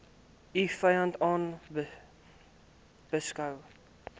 u vyand beskou